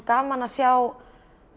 gaman að sjá